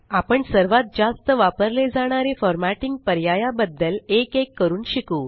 आपण सर्वात जास्त वापरले जाणारे फ़ॉर्मेटिंग पर्याया बद्दल एक एक करून शिकु